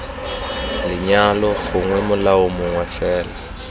lenyalo gongwe molao mongwe fela